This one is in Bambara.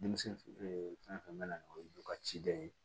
Denmisɛnnin fɛn fɛn bɛ na n'o ye ka ciden ye